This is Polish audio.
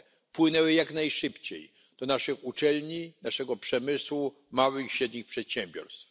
płynęły jak najszybciej do naszych uczelni, naszego przemysłu, małych i średnich przedsiębiorstw.